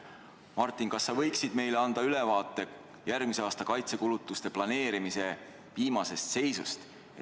Martin, kas sa võiksid meile anda ülevaate järgmise aasta kaitsekulutuste planeerimise viimasest seisust?